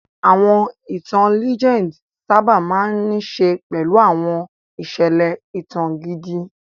Àwọn ìtàn ìtàn sábà máa ń ní í ṣe pẹ̀lú àwọn ìṣẹ̀lẹ̀ ìtàn gidi.